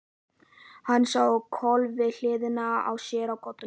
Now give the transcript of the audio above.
Hann sá á koll við hliðina á sér á koddanum.